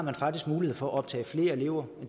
man faktisk mulighed for at optage flere elever